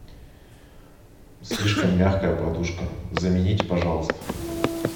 слишком мягкая подушка замените пожалуйста